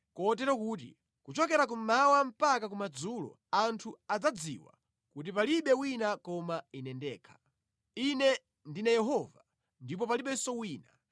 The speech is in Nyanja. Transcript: kotero kuti kuchokera kummawa mpaka kumadzulo anthu adzadziwa kuti palibe wina koma Ine ndekha. Ine ndine Yehova, ndipo palibenso wina.